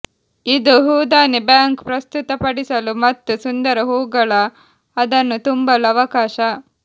ಇದು ಹೂದಾನಿ ಬ್ಯಾಂಕ್ ಪ್ರಸ್ತುತಪಡಿಸಲು ಮತ್ತು ಸುಂದರ ಹೂವುಗಳ ಅದನ್ನು ತುಂಬಲು ಅವಕಾಶ